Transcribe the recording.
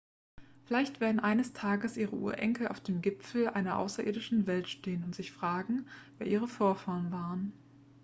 vielleicht werden eines tages ihre urenkel auf dem gipfel einer außerirdischen welt stehen und sich fragen wer ihre vorfahren waren